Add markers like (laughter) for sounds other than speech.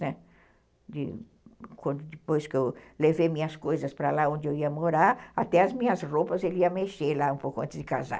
Né, de (unintelligible) quando depois que eu levei minhas coisas para lá onde eu ia morar, até as minhas roupas ele ia mexer lá um pouco antes de casar.